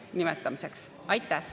Aitäh!